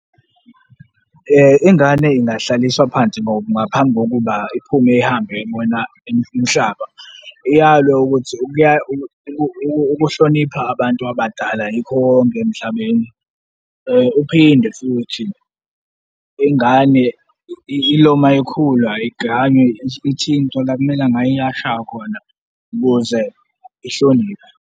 Ingane ingahlaliswa phansi ngaphambi kokuba iphume ihambe, iyobona umhlaba, iyalwe ukuthi ukuhlonipha abantu abadala yikho konke emhlabeni. Uphinde futhi ingane ilo ma ikhula igange, ithintwe la kumele nga iyashaywa khona ukuze ihloniphe.